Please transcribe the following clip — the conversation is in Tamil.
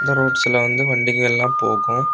ரோட்ஸ்ல வந்து வண்டிக எல்லாம் போகும்.